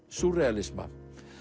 súrrealisma